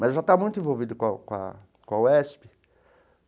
Mas eu já estava muito envolvido com com a com a UESP.